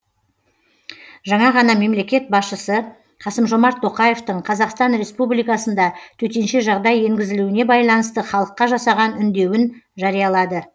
жаңа ғана мемлекет басшысы қасым жомарт тоқаевтың қазақстан республикасында төтенше жағдай енгізілуіне байланысты халыққа жасаған үндеуін жариялады